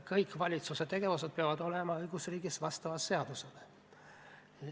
Kõik valitsuse tegevused peavad õigusriigis vastama seadusele.